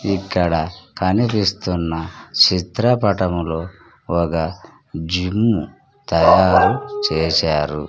ఇక్కడ కనిపిస్తున్న చిత్రపటంలో ఒక జిమ్ము తయారు చేశారు.